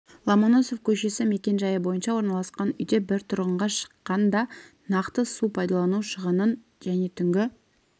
ломоносов көшесі мекен-жайы бойынша орналасқан үйде бір тұрғынға шаққанда нақты су пайдалану шығынын және түнгі